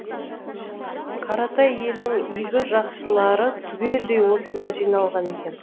қаратай елінің игі жақсылары түгелдей осында жиналған екен